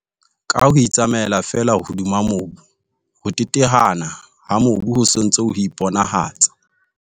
Ka ho itsamaela feela hodima mobu, ho teteana ha mobu ho se ntse ho iponahatsa.